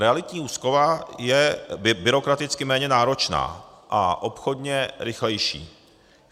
Realitní úschova je byrokraticky méně náročná a obchodně rychlejší.